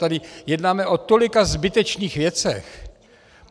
Tady jednáme o tolika zbytečných věcech.